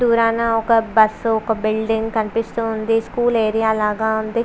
దూరాన ఒక బస్సు ఒక బిల్డింగ్ కనిపిస్తుంది స్కూల్ ఏరియా లాగా ఉంది.